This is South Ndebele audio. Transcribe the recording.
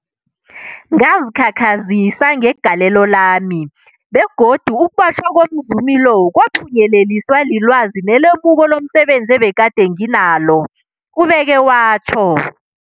Ngazikhakhazisa ngegalelo lami, begodu ukubotjhwa komzumi lo kwaphunyeleliswa lilwazi nelemuko lomse benzi ebegade nginalo, ubeke watjho.